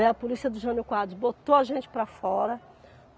Né, a polícia do Jânio Quadros botou a gente para fora.